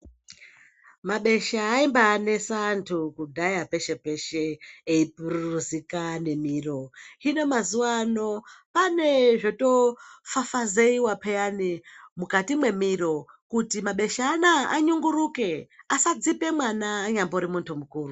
Mabesha aimbanesa antu kudhaya peshe peshe eipururuzika nemiro hino mazuwano pane zvotofafazeiwa peyani mukati mwemwiri kuti mabesha anaya anyunguruke asadzipe mwana anyambori muntu mukuru.